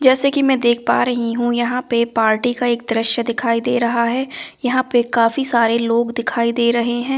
जैसे कि मैं देख पा रही हूं यहां पे पार्टी का एक दृश्य दिखाई दे रहा है यहां पे काफी सारे लोग दिखाई दे रहे हैं।